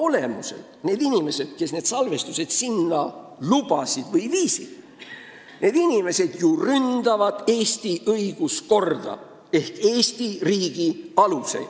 Oma olemuselt ju need inimesed, kes need salvestised sinna lubasid või viisid, ründavad Eesti õiguskorda ehk Eesti riigi aluseid.